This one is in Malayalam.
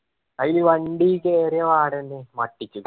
അയി വണ്ടി കേറിയ വാടെന്നെ